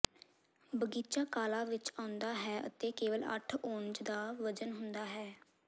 ਬਗੀਚਾ ਕਾਲਾ ਵਿਚ ਆਉਂਦਾ ਹੈ ਅਤੇ ਕੇਵਲ ਅੱਠ ਔਂਨਜ਼ ਦਾ ਵਜ਼ਨ ਹੁੰਦਾ ਹੈ